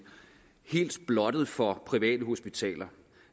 helt blottet for private hospitaler